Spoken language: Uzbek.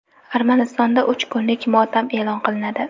Armanistonda uch kunlik motam e’lon qilinadi.